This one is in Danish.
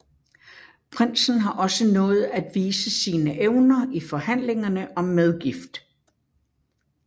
Prinsen har også nået at vise sine evner i forhandlingerne om medgift